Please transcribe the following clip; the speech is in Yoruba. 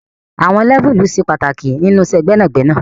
Àwon Lẹ́vùlì se pàtàkì nínú iṣẹ gbẹnagbẹna